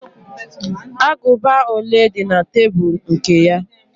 Agụba ole di na tebul nke ya?